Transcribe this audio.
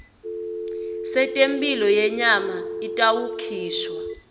setemphilo yenyama itawukhishwa